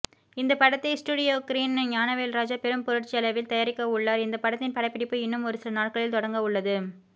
இந்த படத்தை ஸ்டுடியோக்ரீன் ஞானவேல்ராஜா பெரும் பொருட்செலவில் தயாரிக்கவுள்ளார் இந்த படத்தின் படப்பிடிப்பு இன்னும் ஒருசில நாட்களில் தொடங்கவுள்ளது